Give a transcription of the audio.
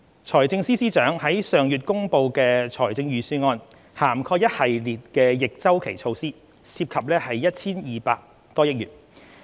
財政司司長上月公布的預算案涵蓋一系列逆周期措施，涉及 1,200 多億元。